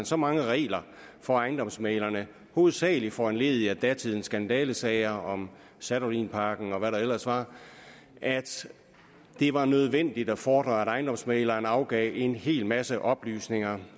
så mange regler for ejendomsmæglere hovedsagelig foranlediget af datidens skandalesager om sadolinparken og hvad der ellers var at det var nødvendigt at fordre at ejendomsmægleren afgav en hel masse oplysninger